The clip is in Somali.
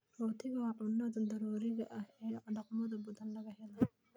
Rootigu waa cunnada daruuriga ah ee dhaqamada badan laga helo.